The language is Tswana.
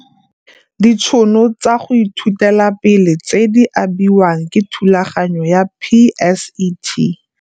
Ditšhono tsa go ithutela pele tse di abiwang ke thulaganyo ya PSET.